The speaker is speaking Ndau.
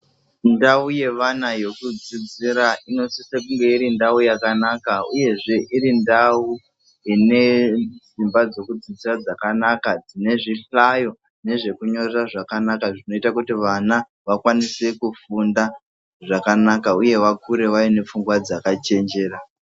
Ndau yevana yekudzidzira inosise kunge iri ndau yakanaka uyezve iri ndau ine dzimba dzekudzidzira dzakanaka dzine zvihlayo nezvekunyorera zvakanaka zvinoita kuti vana vakwanise kufunda zvakanaka uye vakure vaine pfungwa dzakachenjera.